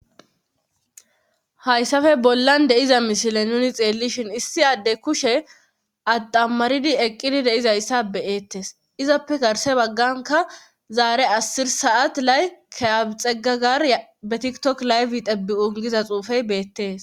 Hayssafe bollan de7iza mishile nuni xeellishin issi adde kushe addammaridi eqqidi deizayssa beyettes izappe garse bagganka zaare asir saat lay kaabixegagar ybetiktok layfi tebbi ungiza xuufey beettees.